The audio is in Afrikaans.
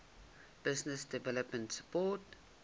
business development support